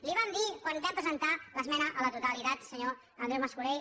li ho vam dir quan vam presentar l’esmena a la totalitat senyor andreu mas colell